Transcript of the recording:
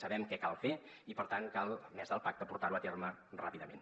sabem què cal fer i per tant cal a més del pacte portar·ho a terme ràpi·dament